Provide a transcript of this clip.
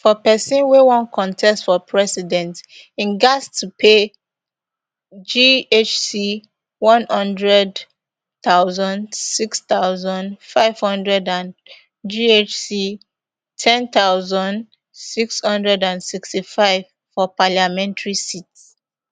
for pesin wey wan contest for president im gatz to pay ghc one hundred thousand six thousand, five hundred and ghc ten thousand six hundred and sixty-five for parliamentary seats